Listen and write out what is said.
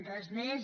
res més